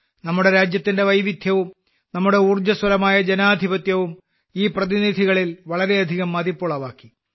നമ്മുടെ രാജ്യത്തിന്റെ വൈവിധ്യവും നമ്മുടെ ഊർജ്ജസ്വലമായ ജനാധിപത്യവും ഈ പ്രതിനിധികളിൽ വളരെയധികം മതിപ്പുളവാക്കി